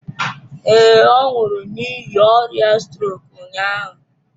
Ee, ọ nwụrụ n'ihi ọrịa strok ụnyahụ.